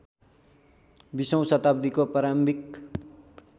२०औँ शताब्दीको प्रारम्भिक